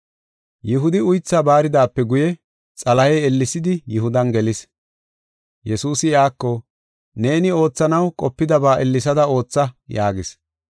Yihudi uythaa baaridaape guye, Xalahey ellesidi Yihudan gelis. Yesuusi iyako, “Neeni oothanaw qopidaba ellesada ootha” yaagis.